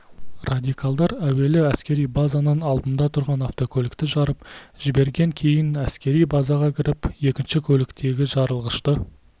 радикалдар әуелі әскери базаның алдында тұрған автокөлікті жарып жіберген кейін әскери базаға кіріп екінші көліктегі жарылғышты